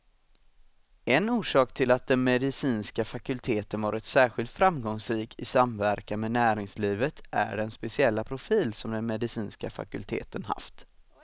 En orsak till att den medicinska fakulteten varit särskilt framgångsrik i samverkan med näringslivet är den speciella profil som den medicinska fakulteten haft.